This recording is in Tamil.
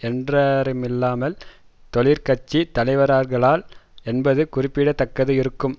என்றில்லாமல் தொழிற்கட்சி தலைவர்களால் என்பது குறிப்பிட தக்கது இருக்கும்